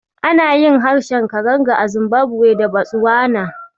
Ana yin harshen Karanga a Zimbabwe da Botswana.